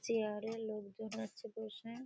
chair -এ লোকজন আছে বসে|